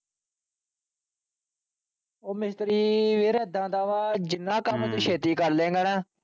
ਉਹ ਮਿਸਤਰੀ ਵੀਰ ਏਦਾਂ ਦਾ ਵਾ ਜਿੰਨਾ ਕੰਮ ਤੂੰ ਛੇਤੀ ਕਰਲੇਂਗਾ ਨਾ,